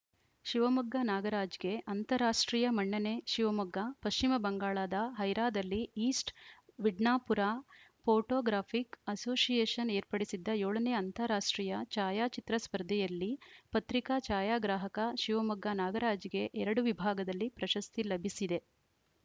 ಶಿವಮೊಗ್ಗ ನಾಗರಾಜ್‌ಗೆ ಅಂತಾರಾಷ್ಟ್ರೀಯ ಮನ್ನಣೆ ಶಿವಮೊಗ್ಗ ಪಶ್ಚಿಮ ಬಂಗಾಳದ ಹೈರಾದಲ್ಲಿ ಈಸ್ಟ್‌ ಮಿಡ್ನಾಪುರ ಪೋಟೋಗ್ರಾಫಿಕ್‌ ಅಸೋಸಿಯೇಷನ್‌ ಏರ್ಪಡಿಸಿದ್ದ ಏಳ ನೇ ಅಂತಾರಾಷ್ಟ್ರೀಯ ಛಾಯಾಚಿತ್ರ ಸ್ಪರ್ಧೆಯಲ್ಲಿ ಪತ್ರಿಕಾ ಛಾಯಾಗ್ರಾಹಕ ಶಿವಮೊಗ್ಗ ನಾಗರಾಜ್‌ಗೆ ಎರಡು ವಿಭಾಗದಲ್ಲಿ ಪ್ರಶಸ್ತಿ ಲಭಿಸಿದೆ